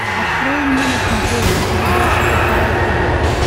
открой мне на смотрешке передачу кхл тв